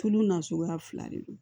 Tulu nasuguya fila de don